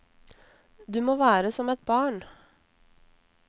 Du må være som et barn.